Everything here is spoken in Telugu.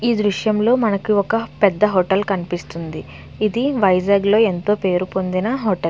ఈ దృశం లో మనకి ఒక పెద్ద హోటల్ కనిపిస్తుంది ఇది వైజాగ్ లో ఎంతో పేరు పొందిన హోటల్ .